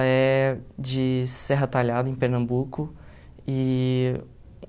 é de Serra Talhada, em Pernambuco, e